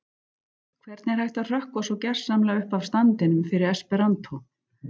Hvernig er hægt að hrökkva svo gersamlega upp af standinum fyrir esperantó?